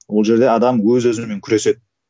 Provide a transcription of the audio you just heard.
ол жерде адам өз өзімен күреседі